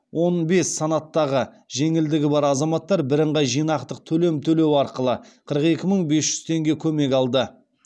он бес санаттағы жеңілдігі бар азаматтар бірыңғай жинақтық төлем төлеу арқылы қырық екі мың бес жүз теңге көмек алды